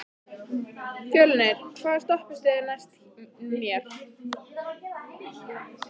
Fjölnir, hvaða stoppistöð er næst mér?